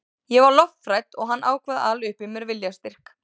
Ég var lofthrædd og hann ákvað að ala upp í mér viljastyrk.